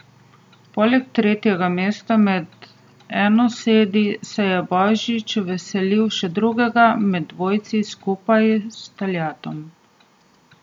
Poleg tretjega mesta med enosedi se je Božič veselil še drugega med dvojci skupaj s Taljatom.